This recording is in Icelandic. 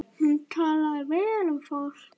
Hún talaði vel um fólk.